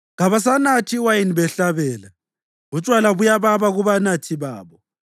Kabasanathi iwayini behlabela, utshwala buyababa kubanathi babo.